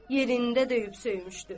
yerində döyüb söymüşdü.